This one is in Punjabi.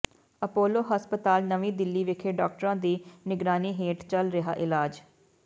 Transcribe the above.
ਅਪੋਲੋ ਹਸਪਤਾਲ ਨਵੀਂ ਦਿੱਲੀ ਵਿਖੇ ਡਾਕਟਰਾਂ ਦੀ ਨਿਗਰਾਨੀ ਹੇਠ ਚੱਲ ਰਿਹਾ ਇਲਾਜ